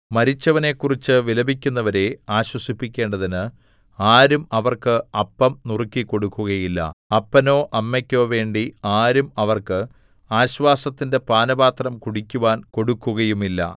മരിച്ചവനെക്കുറിച്ച് വിലപിക്കുന്നവരെ ആശ്വസിപ്പിക്കേണ്ടതിന് ആരും അവർക്ക് അപ്പം നുറുക്കിക്കൊടുക്കുകയില്ല അപ്പനോ അമ്മയ്ക്കോ വേണ്ടി ആരും അവർക്ക് ആശ്വാസത്തിന്റെ പാനപാത്രം കുടിക്കുവാൻ കൊടുക്കുകയുമില്ല